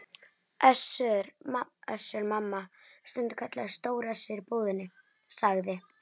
Össur- Mamma, stundum kallaður Stóri Össur í búðinni, sagði